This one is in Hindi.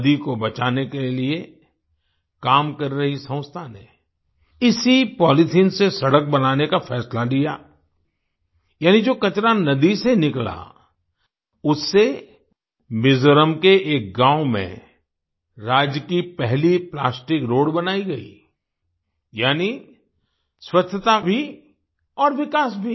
नदी को बचाने के लिए काम कर रही संस्था ने इसी पॉलिथिन से सड़क बनाने का फैसला लिया यानि जो कचरा नदी से निकला उससे मिज़ोरम के एक गाँव में राज्य की पहली प्लास्टिक रोड बनाई गई यानि स्वच्छता भी और विकास भी